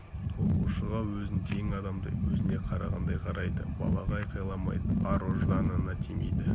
оқушыға өзін тең адамдай өзіне қарағандай қарайды балаға айқаламайды ар ұжданына тимейді